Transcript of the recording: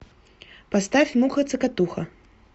поставь муха цокотуха